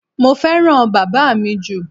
Mo fẹ́ràn bàbá mi jù.